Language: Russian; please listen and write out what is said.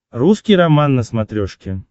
русский роман на смотрешке